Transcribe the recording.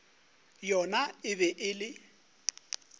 yona e be e le